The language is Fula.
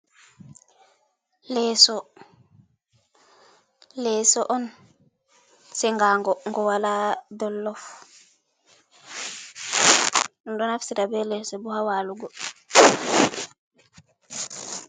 Leso, leso on sengango ngo wala dollof ɗo naftira be leso bo ha walugo.